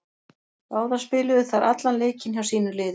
Báðar spiluðu þær allan leikinn hjá sínu liði.